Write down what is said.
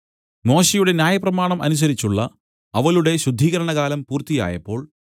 മോശെയുടെ ന്യായപ്രമാണം അനുസരിച്ചുള്ള അവളുടെ ശുദ്ധീകരണകാലം പൂർത്തിയായപ്പോൾ